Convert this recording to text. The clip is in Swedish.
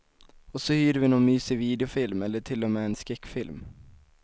Och så hyr vi någon mysig videofilm, eller till och med en skräckfilm.